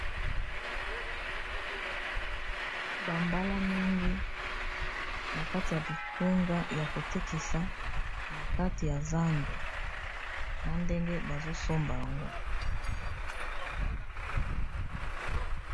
Bambala mingi na kati ya bitunga ya kotekisa na kati ya zando na ndenge bazosomba yango.